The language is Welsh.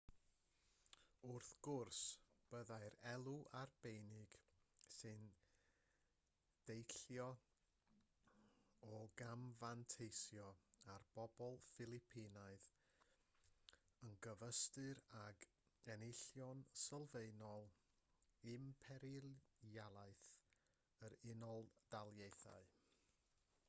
wrth gwrs byddai'r elw arbennig sy'n deillio o gamfanteisio ar bobl ffilipinaidd yn gyfystyr ag enillion sylfaenol imperialaeth yr u.d